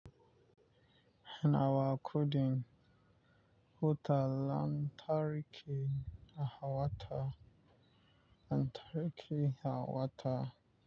Nawa kudun wuta lantarki na hawa ta? Lantarki a hawa ta.